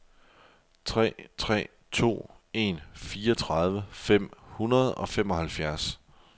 tre tre to en fireogtredive fem hundrede og femoghalvfjerds